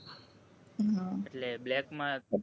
એટલે black માં